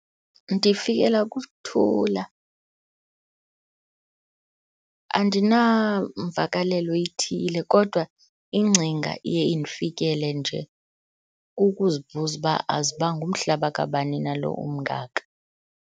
Ndifikelwa kukuthula. Andinamvakalelo ithile kodwa ingcinga iye indifikile nje kukuzibuza uba azuba ngumhlaba kabani na lo umngaka.